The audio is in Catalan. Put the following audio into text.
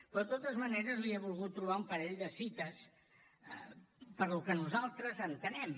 però de totes maneres li he volgut trobar un parell de cites pel que nosaltres entenem